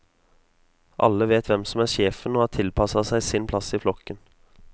Alle vet hvem som er sjefen og har tilpasset seg sin plass i flokken.